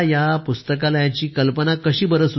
आपल्याला या पुस्तकालयाची कल्पना आहे ती कशी सुचली